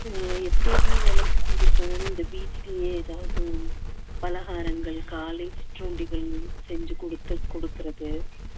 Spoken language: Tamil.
அஹ் எப்படி என்ன வேலை செஞ்சிருக்காங்க இந்த வீட்டிலேயே ஏதாவது பலகாரங்கள் காலை சிற்றூண்டிகள் செஞ்சு கொடுத்து கொடுக்கிறது